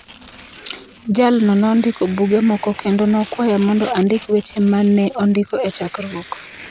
Jalno nondiko buge moko kendo nokwaya mondo andik weche ma ne ondiki e chakruok.